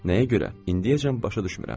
Nəyə görə? İndiyəcən başa düşmürəm.